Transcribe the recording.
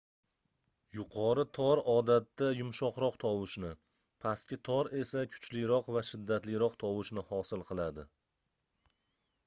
yuqori tor odatda yumshoqroq tovushni pastki tor esa kuchliroq va shiddatliroq tovushni hosil qiladi